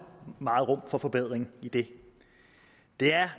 meget rum for forbedring i det det er